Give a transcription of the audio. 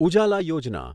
Ujala Yojana